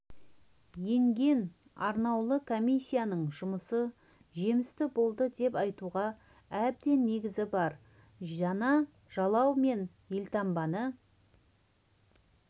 енген арнаулы комиссияның жұмысы жемісті болды деп айтуға әбден негіз бар жаңа жалау мен елтаңбаны